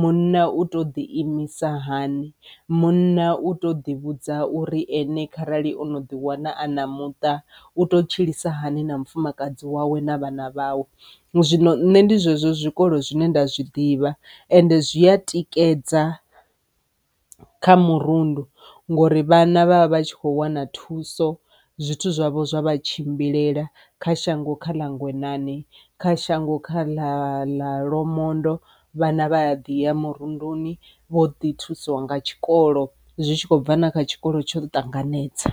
munna u to ḓi imisa hani, munna u to ḓi vhudza uri ene kharali u no ḓi wana a na muṱa u to tshilisa hani na mufumakadzi wawe na vhana vhawe. Zwino nṋe ndi zwezwo zwikolo zwine nda zwi ḓivha ende zwi a tikedza kha murundu ngori vhana vha vha vha tshi kho wana thuso zwithu zwavho zwa vha tshimbilele kha shango kha la Ngwenani kha shango kha ḽa ḽa Lwamondo vhana vha ya ḓi ya murunduni vho ḓi thusiwa nga tshikolo zwi tshi khou bva na kha tshikolo tsho ṱanganedza.